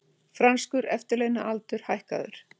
Franskur eftirlaunaaldur hækkaður